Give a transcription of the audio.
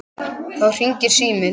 Þá hringir síminn.